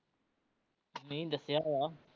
ਮੀਂਹ ਦੱਸਿਆ ਵਾ